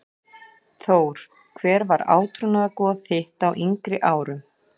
Þór Hver var átrúnaðargoð þitt á yngri árum?